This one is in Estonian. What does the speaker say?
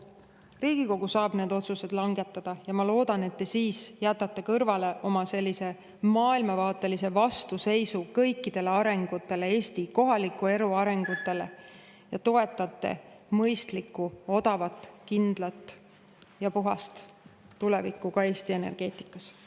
Riigikogu saab need otsused langetada ja ma loodan, et te siis jätate kõrvale oma maailmavaatelise vastuseisu kõikidele arengutele, Eesti kohaliku elu arengutele ja toetate mõistlikku, odavat, kindlat ja puhast tulevikku ka Eesti energeetikas.